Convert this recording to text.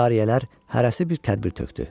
Cariyələr hərəsi bir tədbir tökdü.